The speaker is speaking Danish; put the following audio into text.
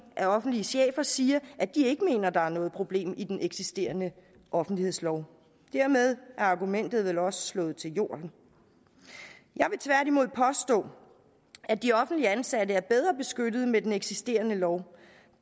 af offentlige chefer siger at de ikke mener at der er noget problem i den eksisterende offentlighedslov dermed er argumentet jo også slået til jorden jeg vil tværtimod påstå at de offentligt ansatte er bedre beskyttet med den eksisterende lov